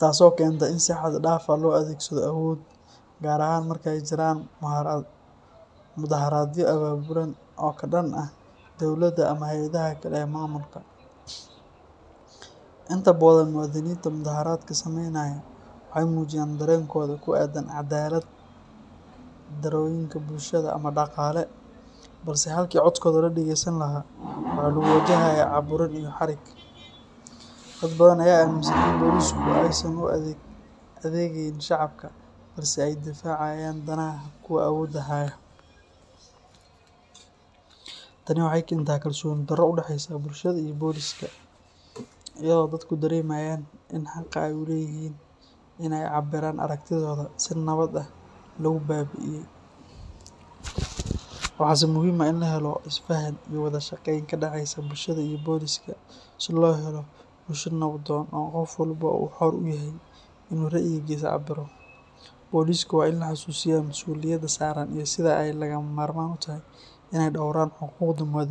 taasoo keenta in si xad dhaaf ah loo adeegsado awood, gaar ahaan marka ay jiraan mudaharaadyo abaabulan oo ka dhan ah dowladda ama hay’adaha kale ee maamulka. Inta badan, muwaadiniinta mudaharaadka sameynaya waxay muujiyaan dareenkooda ku aaddan cadaalad-darrooyinka bulsho ama dhaqaale, balse halkii codkooda la dhageysan lahaa waxaa lagu wajahayaa caburin iyo xarig. Dad badan ayaa aaminsan in boolisku aysan u adeegayn shacabka, balse ay difaacayaan danaha kuwa awoodda haya. Tani waxay keentay kalsooni darro u dhexeysa bulshada iyo booliska, iyadoo dadku dareemayaan in xaqa ay u leeyihiin in ay cabbiraan aragtidooda si nabad ah lagu baabi’iyay. Waxaase muhiim ah in la helo isfaham iyo wada shaqeyn ka dhexaysa bulshada iyo booliska si loo helo bulsho nabdoon oo qof walba uu xor u yahay in uu ra'yigiisa cabbiro. Booliska waa in la xusuusiyaa mas'uuliyadda saaran iyo sida ay lagama maarmaan u tahay in ay dhowraan xuquuqda muwaadiniin.